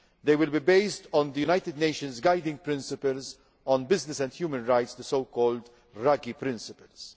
They will be based on the United Nations Guiding Principles on Business and Human Rights the so called Ruggie principles.